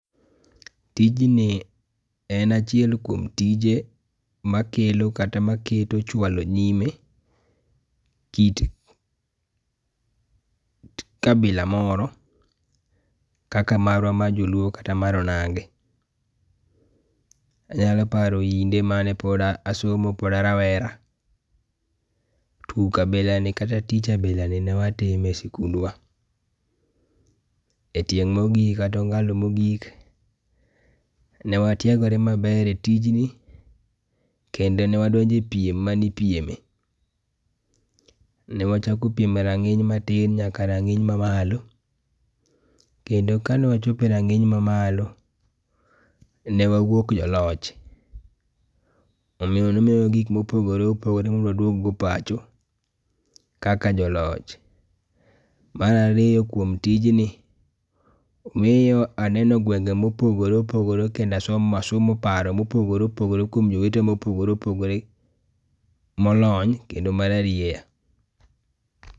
Tijni en achiel kuom tije ma kelo kata ma keto chualo nyime kit kabila moro kaka marwa ma jo luo kata mar onagi. Anyalo paro kinde ma ne pod asomo pod arawera tuk abila ni kata tich abila ni ne watugo kata ne watimo e sikundwa.E tieng ma ogik kata ongalo ma ogik ne watiagore ma ber e tijni kendo ne wadonjo e piem ma ne ipieme. Ne wachako piem e rang'iny ma piny nyaka e ranginy ma malo. Kendo ka ne wachopo e rang'iny ma malo , ne wawuok joloch, omiyo ne omiwa gik ma opogore opogore mondo waduog go pacho, kaka jo loch. Mar ariyo kuom tijni miyo aneno gwenge ma opogore opogore kendo asomo asomo paro ma opogore opogore kuom jowete ma opogore opogore molony kendo mar arieya.